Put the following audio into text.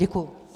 Děkuji.